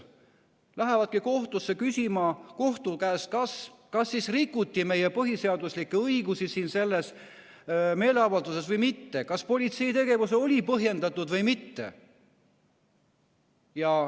Inimesed lähevadki küsima kohtu käest, kas siis rikuti meie põhiseaduslikke õigusi sellel meeleavaldusel või mitte, kas politsei tegevus oli põhjendatud või mitte.